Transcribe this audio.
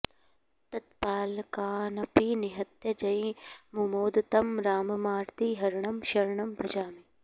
तत्पालकानपि निहत्य जयी मुमोद तं राममार्तिहरणं शरणं भजामि